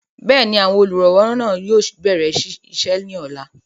bẹ́ẹ̀ni, àwọn olùrànlọwọ náà yóò bẹ̀rẹ̀ isẹ́ ní ọ̀la